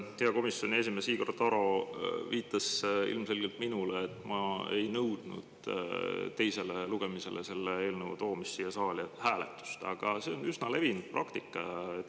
Hea komisjoni esimees Igor Taro viitas ilmselgelt minule, et ma ei nõudnud enne selle eelnõu siia saali teisele lugemisele toomist hääletust, aga see on üsna levinud praktika.